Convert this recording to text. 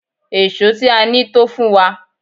Èṣó tí a ní tó fún wa.